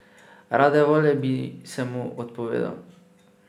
Rade volje bi se mu odpovedal.